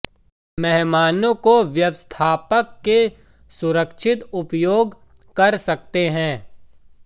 मेहमानों को व्यवस्थापक के सुरक्षित उपयोग कर सकते हैं